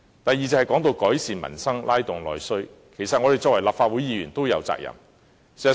第二，說到改善民生，拉動內需，其實我們作為立法會議員也有責任。